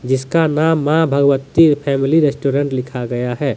इसका नाम Maa Bhagwati family restaurant लिखा गया है।